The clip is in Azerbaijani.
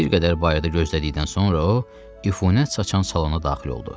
Bir qədər bayırda gözlədikdən sonra o, ifunət çaçan salona daxil oldu.